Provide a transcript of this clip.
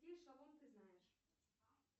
какие шалом ты знаешь